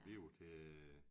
Vi var til